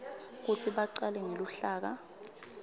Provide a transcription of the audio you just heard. kutsi bacale ngeluhlaka